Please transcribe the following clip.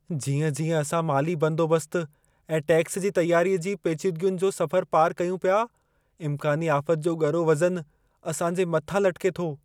जीअं-जीअं असां माली बंदोबस्त ऐं टैक्स जी तयारीअ जी पेचीदगियुनि जो सफ़रु पारि कयूं पिया, इम्कानी आफ़त जो ॻरो वजऩु असां जे मथां लटिके थो।